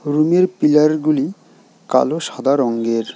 রুমের পিলার গুলি কালো সাদা রঙ্গের।